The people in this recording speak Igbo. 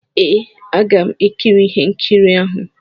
Ee, aga m ekiri ihe nkiri ahụ.